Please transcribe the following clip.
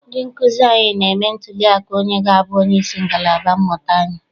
Ndị nkụzi anyị na-eme ntụli aka onye ga-abụ onyeisi ngalaba mmụta anyi.